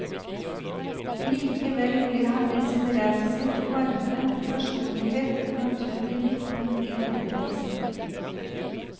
Likevel ble han med sin raushet og varme personlighet et naturlig midtpunkt i vennekretsen.